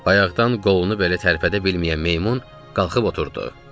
Ayaqdan qolunu belə tərpədə bilməyən meymun qalxıb oturdu.